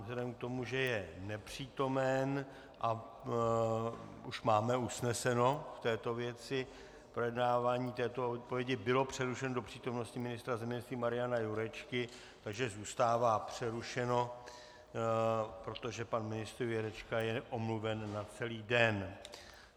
Vzhledem k tomu, že je nepřítomen a už máme usneseno v této věci, projednávání této odpovědi bylo přerušeno do přítomnosti ministra zemědělství Mariana Jurečky, takže zůstává přerušeno, protože pan ministr Jurečka je omluven na celý den.